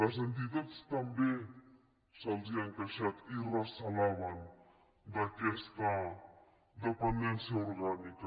les entitats també se’ls han queixat i recelaven d’aquesta dependència orgànica